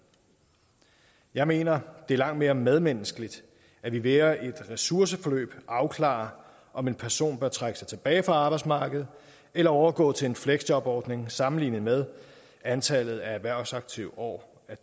jeg mener at det er langt mere medmenneskeligt at vi via et ressourceforløb afklarer om en person bør trække sig tilbage fra arbejdsmarkedet eller overgå til en fleksjobordning sammenlignet med at antallet af erhvervsaktive år